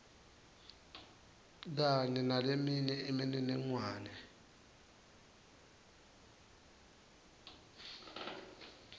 kanye naleminye imininingwane